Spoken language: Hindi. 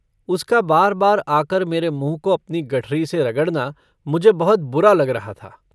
उसका बार-बार आकर मेरे मुँह को अपनी गठरी से रगड़ना मुझे बहुत बुरा लग रहा था।